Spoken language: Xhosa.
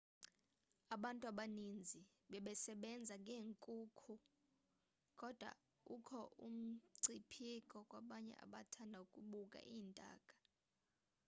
abantu abaninzi bebesebenza ngeenkukhu kodwa ukho umngcipheko kwabanye abathanda ukubuka iintaka